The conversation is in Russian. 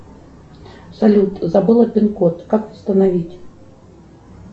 салют забыла пин код как восстановить